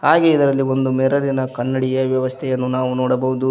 ಹಾಗೆ ಇದರಲ್ಲಿ ಒಂದು ಮಿರರ್ ಇನ ಕನ್ನಡಿಯ ವ್ಯವಸ್ಥೆಯನ್ನು ನಾವು ನೋಡಬಹುದು.